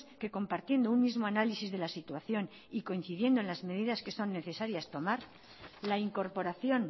que compartiendo un mismo análisis de la situación y coincidiendo en las medidas que son necesarias tomar la incorporación